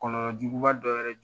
Kɔlɔlɔ juguba dɔ wɛrɛ jɔ